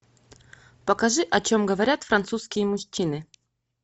покажи о чем говорят французские мужчины